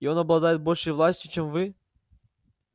и он обладает большей властью чем вы